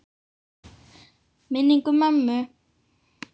Minning um mömmu.